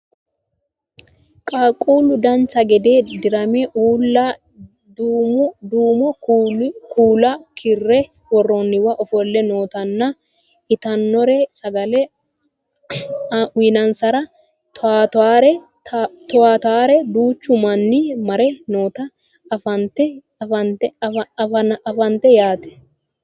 qaaqquullu dancha gede dirame uulla duumo kuula karre worroonniwa ofolle nootana iatannore sagale aansaranna toyaatara duuchu manni mare noota anafannite yaate